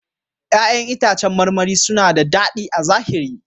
ƴa'ƴan itãcen marmari suna da daɗi a zahiri.